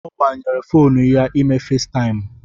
Ọ agbanyere fonu ya ime Faistaimụ